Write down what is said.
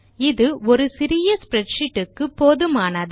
இது ஒரு சிறிய ஸ்ப்ரெட்ஷீட் க்கு போதுமானது